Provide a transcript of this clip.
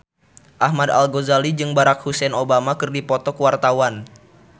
Ahmad Al-Ghazali jeung Barack Hussein Obama keur dipoto ku wartawan